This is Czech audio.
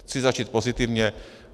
Chci začít pozitivně.